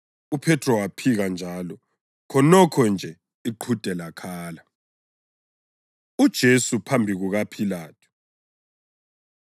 UPhethro waphika njalo, khonokho nje iqhude lakhala. UJesu Phambi KukaPhilathu